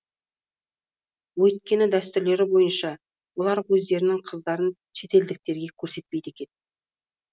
өйткені дәстүрлері бойынша олар өздерінің қыздарын шетелдіктерге көрсетпейді екен